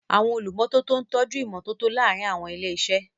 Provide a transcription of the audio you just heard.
Àwọn olùmọ́tótó ń tọ́jú ìmọ́tótó láàárín àwọn ilé-iṣẹ́.